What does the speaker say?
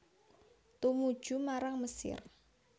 Tumuju marang Mesir